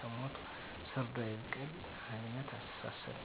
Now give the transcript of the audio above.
ከሞትሁ ሰርዶ አይብቀል አይነት አስተሳሰብ